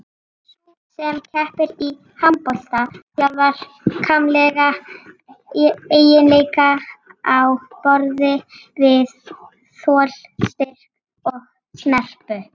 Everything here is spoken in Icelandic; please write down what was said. Sú sem keppir í handbolta þjálfar líkamlega eiginleika á borð við þol, styrk og snerpu.